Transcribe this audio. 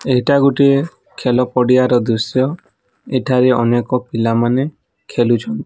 ଏଇଟା ଗୋଟିଏ ଖେଲ ପଡ଼ିଆ ର ଦୃଶ୍ୟ ଏଠାରେ ଅନେକ ପିଲା ମାନେ ଖେଲୁଛ --